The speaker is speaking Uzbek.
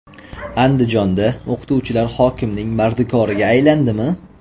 Andijonda o‘qituvchilar hokimning mardikoriga aylandimi?.